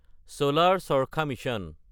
চলাৰ চাৰখা মিছন